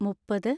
മുപ്പത്